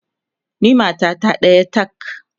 ni matata ɗaya tak!